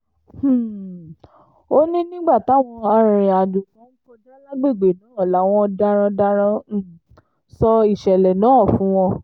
um ó ní nígbà táwọn arìnrìn-àjò kan ń kọjá lágbègbè náà làwọn darandaran um sọ ìṣẹ̀lẹ̀ náà fún wọn